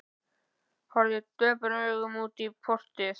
Horfði döprum augum út í portið.